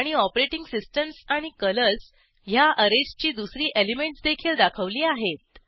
आणि operating systems आणि colours ह्या ऍरेजची दुसरी एलिमेंटस देखील दाखवली आहेत